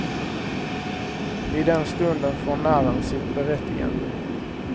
I den stunden får narren sitt berättigande.